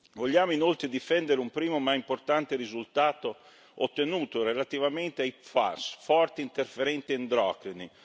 Vogliamo inoltre difendere un primo ma importante risultato ottenuto relativamente ai PFAS, forte interferenti endocrini.